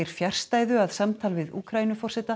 fjarstæðu að samtal við